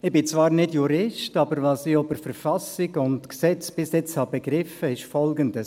Ich bin zwar nicht Jurist, aber was ich bisher bei der Verfassung und bei Gesetzen begriffen habe, ist Folgendes: